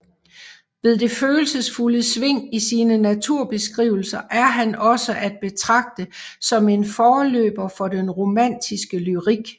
Ved det følelsesfulde sving i sine naturbeskrivelser er han også at betragte som en forløber for den romantiske lyrik